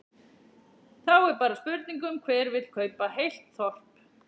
Þá er bara spurning um hver vill kaupa heilt þorp?